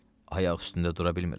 Ayaq üstündə dura bilmirəm.